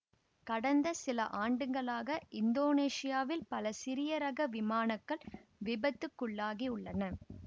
கடந்த சில ஆண்டுகளாக இந்தோனேசியாவில் பல சிறியரக விமானக்கள் விபத்துக்குள்ளாகியுள்ளன